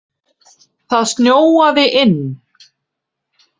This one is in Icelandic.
Það snjóaði inn.